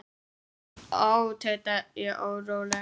Ó, tauta ég óróleg.